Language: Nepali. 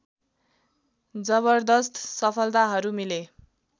जबर्दश्त सफलताहरू मिले